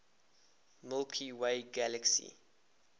milky way galaxy